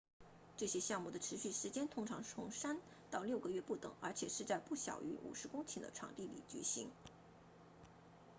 这些项目的持续时间通常从三到六个月不等而且是在不小于50公顷的场地里举行